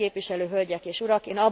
Tisztelt képviselő hölgyek és urak!